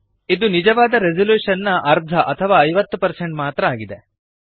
ಇದು ನಿಜವಾದ ರೆಸಲ್ಯೂಶನ್ ನ ಅರ್ಧ ಅಥವಾ 50 ಮಾತ್ರ ಆಗಿದೆ